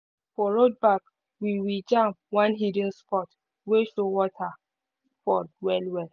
for road back we we jam one hidden spot wey show waterfall well-well.